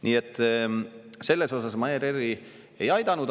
Nii et selles mõttes ma ERR-i ei aidanud.